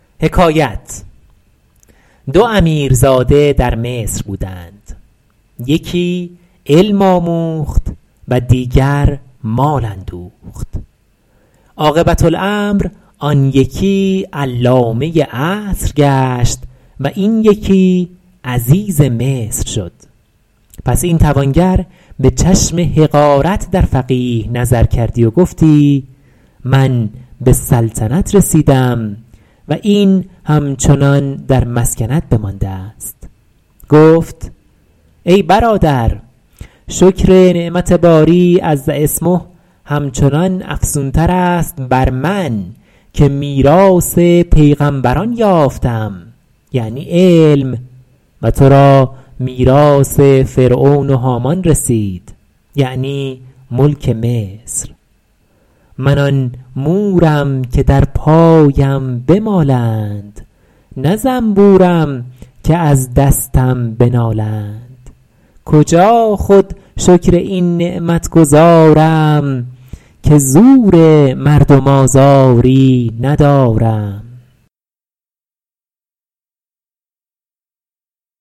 دو امیرزاده در مصر بودند یکی علم آموخت و دیگری مال اندوخت عاقبة الامر آن یکی علامه عصر گشت و این یکی عزیز مصر شد پس این توانگر به چشم حقارت در فقیه نظر کردی و گفتی من به سلطنت رسیدم و این همچنان در مسکنت بمانده است گفت ای برادر شکر نعمت باری عز اسمه همچنان افزون تر است بر من که میراث پیغمبران یافتم یعنی علم و تو را میراث فرعون و هامان رسید یعنی ملک مصر من آن مورم که در پایم بمالند نه زنبورم که از دستم بنالند کجا خود شکر این نعمت گزارم که زور مردم آزاری ندارم